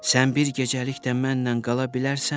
Sən bir gecəlik də mənlə qala bilərsənmi?